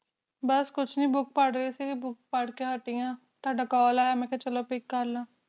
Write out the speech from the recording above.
ਬਸ ਕੁਛ ਨਹੀਂ book ਰਹੀ ਸੀ book ਪੜ੍ਹ ਕ ਹਾਟਿ ਹਾਂ ਤੁਹਾਡਾ call ਆਇਆ ਮੇਂ ਕਹਾ pick ਕਰ ਲਾ